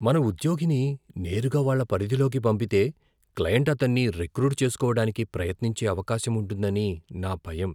మన ఉద్యోగిని నేరుగా వాళ్ళ పరిధిలోకి పంపితే, క్లయింట్ అతన్ని రిక్రూట్ చేసుకోవడానికి ప్రయత్నించే అవకాశం ఉంటుందని నా భయం.